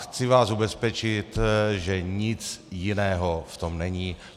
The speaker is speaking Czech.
Chci vás ubezpečit, že nic jiného v tom není.